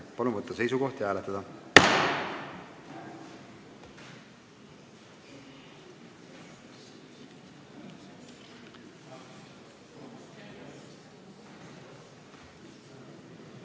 Palun võtta seisukoht ja hääletada!